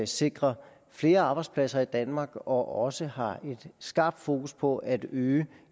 sikrer flere arbejdspladser i danmark og også har et skarpt fokus på at øge